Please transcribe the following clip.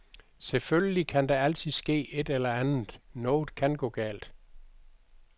Selvfølgelig kan der altid ske et eller andet, noget kan gå galt.